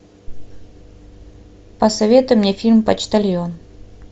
посоветуй мне фильм почтальон